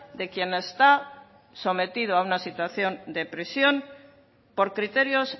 de quien está sometido a una situación de prisión por criterios